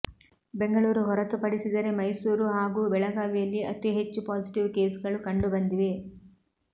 ಬೆಂಗಳೂರು ಹೊರತುಪಡಿಸಿದರೆ ಮೈಸೂರು ಹಾಗೂ ಬೆಳಗಾವಿಯಲ್ಲಿ ಅತಿ ಹೆಚ್ಚು ಪಾಸಿಟಿವ್ ಕೇಸ್ಗಳು ಕಂಡುಬಂದಿವೆ